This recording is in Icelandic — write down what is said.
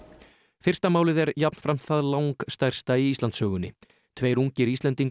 fyrsta málið er jafnframt það langstærsta í Íslandssögunni tveir ungir Íslendingar